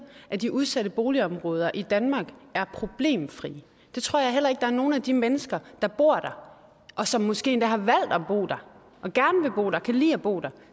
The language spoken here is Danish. at de udsatte boligområder i danmark er problemfri det tror jeg heller ikke der er nogen af de mennesker der bor der og som måske endda har valgt at bo der og gerne vil bo der kan lide at bo der